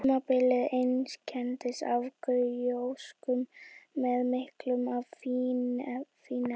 Tímabilið einkenndist af gjósku með miklu af fínefnum.